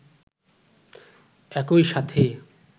একই সাথে